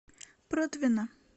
протвино